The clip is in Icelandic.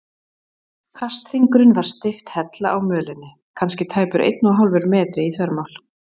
Kasthringurinn var steypt hella á mölinni, kannski tæpur einn og hálfur metri í þvermál.